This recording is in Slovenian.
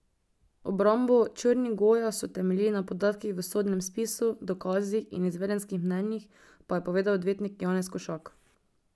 Obrambo Črnigoja so temeljili na podatkih v sodnem spisu, dokazih in izvedenskih mnenjih, pa je povedal odvetnik Janez Košak.